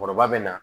Kɔrɔba bɛ na